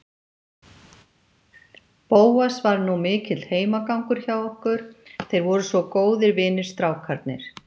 Bóas var nú mikill heimagangur hjá okkur, þeir voru svo góðir vinir, strákarnir.